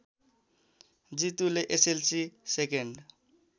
जितुले SLC second